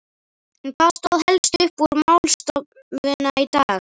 En hvað stóð helst upp úr eftir málstofuna í dag?